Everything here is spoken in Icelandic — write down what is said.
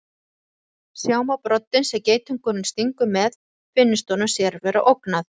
Sjá má broddinn sem geitungurinn stingur með finnist honum sér vera ógnað.